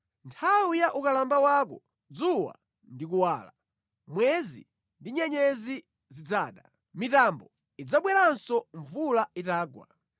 Nthawi ya ukalamba wako, dzuwa ndi kuwala, mwezi ndi nyenyezi zidzada. Mitambo idzabweranso mvula itagwa.